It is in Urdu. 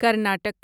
کرناٹک